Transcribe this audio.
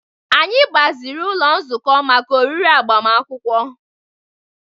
Anyị gbaziri ụlọ nzukọ maka oriri agbamakwụkwọ